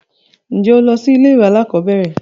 Ǹjẹ́ o lọ sí ilé ìwé alákọ̀berẹ̀?